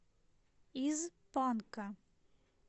из панка